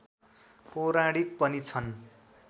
पौराणिक पनि छन्